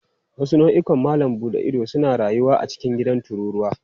Wasu nau'ikan malam buɗe ido suna rayuwa a cikin gidan tururuwa.